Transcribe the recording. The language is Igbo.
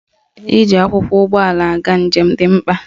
Iji akwụkwọ ụgbọala aga njem dị mkpa